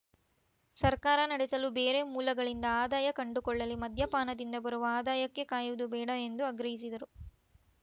ಸರ್ಕಾರ ನಡೆಸಲು ಬೇರೆ ಮೂಲಗಳಿಂದ ಆದಾಯ ಕಂಡುಕೊಳ್ಳಲಿ ಮದ್ಯಪಾನದಿಂದ ಬರುವ ಆದಾಯಕ್ಕೆ ಕಾಯುವುದು ಬೇಡ ಎಂದು ಆಗ್ರಹಿಸಿದರು